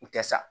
U tɛ sa